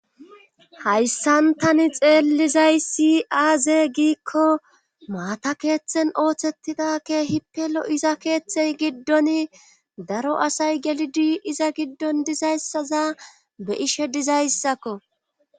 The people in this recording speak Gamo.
hayssan tani xeellizay si aaze giikko maata keeththen ooththettidakke hipelo iza keeththey giddon daro asay gelidi iza giddon dizayssaza be ishe dizayssakko